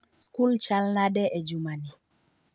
Skul chalnade e juma ni?